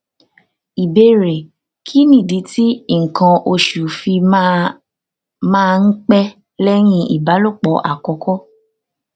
ìbéèrè kí nìdí tí ikan osu fi máa máa ń pẹ lẹyìn ìbálòpọ àkọkọ